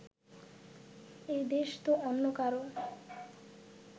এদেশ তো অন্য কারো